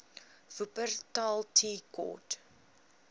wupperthal tea court